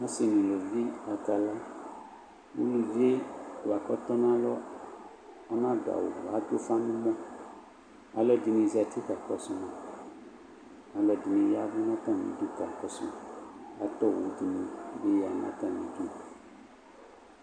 Asɩ dɩnɩbɩ akala ulʊvɩ buaku ɔtɔnʊ alɔ ɔnadʊ awʊ kʊ adʊ ʊfa nʊ ɛmɔ kʊ alʊɛdɩnɩ kakɔsʊ ma alʊɛdɩnɩ yɛɛvʊ nʊ atamɩdʊ kakɔsʊ ma atɔ owʊ dɩnɩbɩ yanʊ atamɩ ɩdʊ